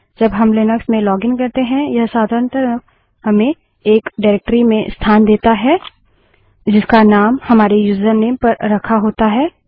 जब हम लिनक्स में लोगिन करते हैं यह साधारणतः हमें एक निर्देशिकाडाइरेक्टरी में स्थान देता है जिसका नाम हमारे यूजरनेम पर रखा होता है